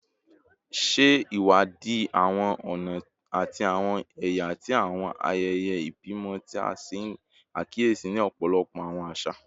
Ṣe iwadi awọn ọna ati awọn ẹya ti awọn ayẹyẹ ibimọ ti a ṣe akiyesi ni ọpọlọpọ awọn aṣa